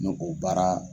N'o o baara